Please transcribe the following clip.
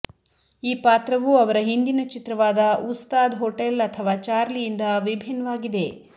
ಈ ಪಾತ್ರವು ಅವರ ಹಿಂದಿನ ಚಿತ್ರವಾದ ಉಸ್ತಾದ್ ಹೋಟೆಲ್ ಅಥವಾ ಚಾರ್ಲಿಯಿಂದ ವಿಭಿನ್ವಾಗಿದೆ